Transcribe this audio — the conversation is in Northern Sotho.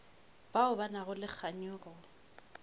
bao ba nago le kganyogo